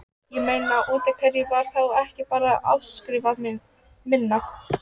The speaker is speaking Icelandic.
Ég meina, útaf hverju var þá ekki bara afskrifað minna?